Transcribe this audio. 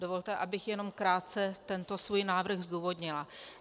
Dovolte, abych jenom krátce tento svůj návrh zdůvodnila.